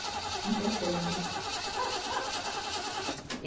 Em dezembro.